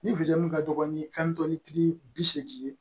Ni ka dɔgɔ ni kantɔni tigi bi seegin ye